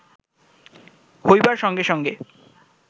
হইবার সঙ্গে সঙ্গে